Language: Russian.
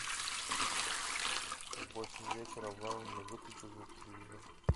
в восемь вечера в лаунже выключи звук телевизора